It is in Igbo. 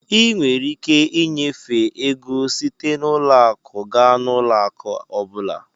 Ị nwere ike ịnyefe ego site n'ụlọ akụ gaa n'ụlọ akụ ọ bụla.